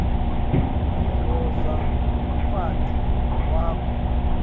indvodza umfati wakho